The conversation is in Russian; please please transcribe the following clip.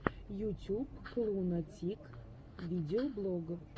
ютюб клуна тик видеоблог